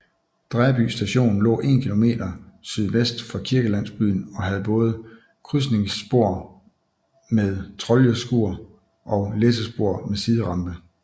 Dræby Station lå 1 km sydvest for kirkelandsbyen og havde både krydsningsspor med troljeskur og læssespor med siderampe